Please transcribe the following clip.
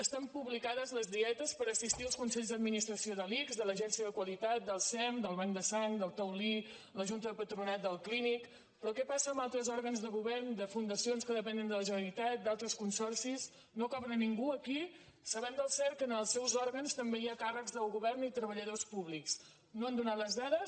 estan publicades les dietes per assistir als consells d’administració de l’ics de l’agència de qualitat del sem del banc de sang del taulí la junta del patronat del clínic però què passa amb altres òrgans de govern de fundacions que depenen de la generalitat d’altres consorcis no cobra ningú aquí sabem del cert que ens els seus òrgans també hi ha càrrecs del govern i treballadors públics no n’han donat les dades